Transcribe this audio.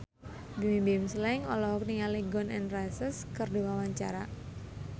Bimbim Slank olohok ningali Gun N Roses keur diwawancara